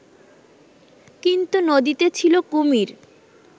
কিন্তু নদীতে ছিল কুমির